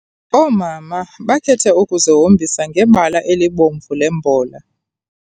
Oomama bakhethe ukuzihombisa ngebala elibomvu lembola.